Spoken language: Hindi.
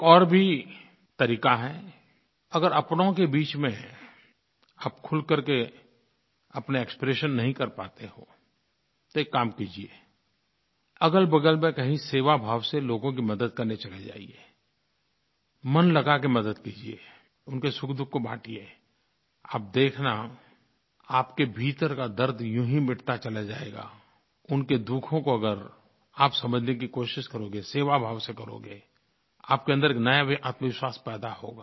एक और भी तरीक़ा है अगर अपनों के बीच में आप खुल करके अपने एक्सप्रेशन नहीं कर पाते हों तो एक काम कीजिए अगलबगल में कही सेवाभाव से लोगों की मदद करने चले जाइए मन लगा के मदद कीजिए उनके सुखदुःख को बाँटिए आप देखना आपके भीतर का दर्द यूँ ही मिटता चला जाएगा उनके दुखों को अगर आप समझने की कोशिश करोगे सेवाभाव से करोगे आपके अन्दर एक नया आत्मविश्वास पैदा होगा